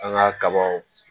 An ka kabaw